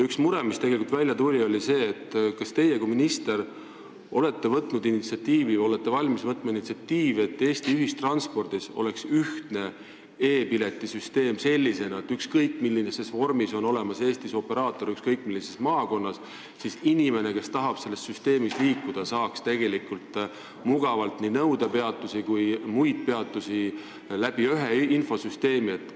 Üks mure, mis tegelikult välja tuli, oli see, et kas teie kui minister olete üles näidanud initsiatiivi või olete valmis seda tegema, et Eesti ühistranspordis oleks ühtne e-pileti süsteem – sellisena, et olenemata sellest, millises vormis on Eestis operaator ja millises maakonnas ta tegutseb, saaks inimene, kes tahab selles süsteemis liikuda, mugavalt tellida nii nõudepeatusi kui ka muid peatusi ühe infosüsteemi kaudu.